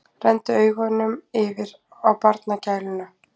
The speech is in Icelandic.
Renndi augunum yfir á barnagæluna.